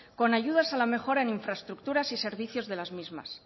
con ayudas a la mejora en infraestructuras y servicios de las mismas